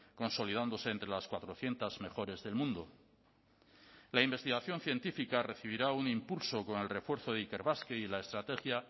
consolidándose entre las cuatrocientos mejores del mundo la investigación científica recibirá un impulso con el refuerzo de ikerbasque y la estrategia